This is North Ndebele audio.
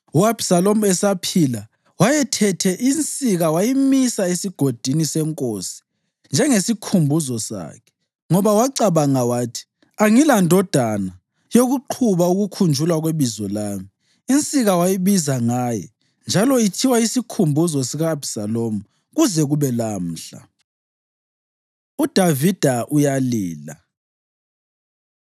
U-Abhisalomu esaphila wayethethe insika wayimisa eSigodini seNkosi njengesikhumbuzo sakhe, ngoba wacabanga wathi, “Angilandodana yokuqhuba ukukhunjulwa kwebizo lami.” Insika wayibiza ngaye, njalo ithiwa Isikhumbuzo sika-Abhisalomu kuze kube lamhla. UDavida Uyalila